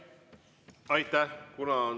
Aitäh!